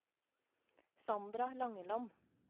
Sandra Langeland